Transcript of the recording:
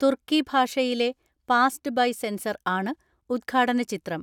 തുർക്കി ഭാഷയിലെ passed by censor ആണ് ഉദ്ഘാട നചിത്രം.